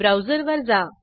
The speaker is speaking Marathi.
ब्राऊजरवर जा